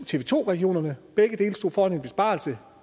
tv to regionerne begge dele stod foran en besparelse